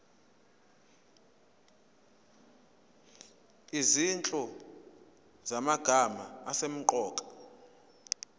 izinhlu zamagama asemqoka